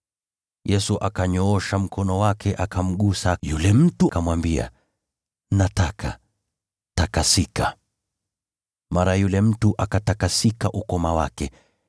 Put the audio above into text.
Yesu akanyoosha mkono wake akamgusa yule mtu, akamwambia, “Nataka. Takasika!” Mara yule mtu akatakasika ukoma wake.